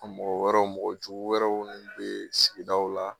A mɔgɔ wɛrɛw mɔgɔ jugu wɛrɛw nin be sigidaw la